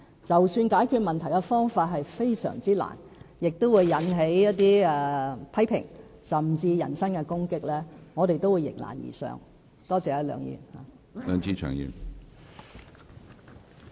儘管解決問題的方法非常困難，會引起一些批評，甚至人身攻擊，我們都會迎難而上，多謝梁議員。